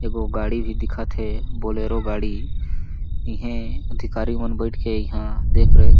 एगो गाड़ी भी दिखत हे बुलेरो गाड़ी इहे अधिकारी मन बइठ के इहा देख रेख--